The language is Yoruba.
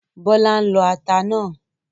Bọ́lá ń lọ ata náà